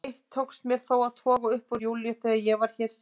Eitt tókst mér þó að toga upp úr Júlíu þegar ég var hér síðast.